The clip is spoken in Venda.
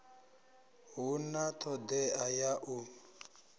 hu na todea ya u